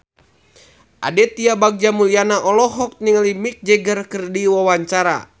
Aditya Bagja Mulyana olohok ningali Mick Jagger keur diwawancara